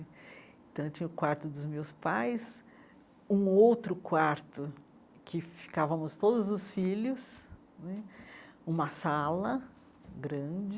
Então eu tinha o quarto dos meus pais, um outro quarto que ficávamos todos os filhos né, uma sala grande,